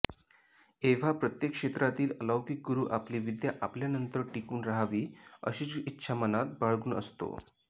एव्हा प्रत्येक क्षेत्रातील अलौकिक गुरू आपली विद्या आपल्यांनतर टिकून राहावी अशिच्ग इच्छा मनात बाळगुन असतो